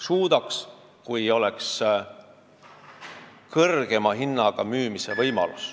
Suudaksin, kui mul oleks kõrgema hinnaga müümise võimalus.